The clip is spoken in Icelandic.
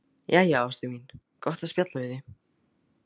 Jæja, ástin mín, gott að spjalla við þig.